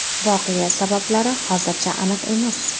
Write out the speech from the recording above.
Voqea sabablari hozircha aniq emas.